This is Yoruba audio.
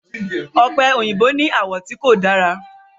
ope oyinbo ní àwọ̀ tí kò dára.